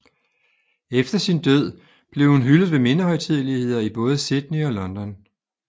Efter sin død blev hun hyldet ved mindehøjtideligheder i både Sydney og London